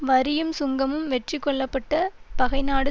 வரியும் சுங்கமும் வெற்றி கொள்ளப்பட்ட பகை நாடு